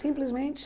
Simplesmente?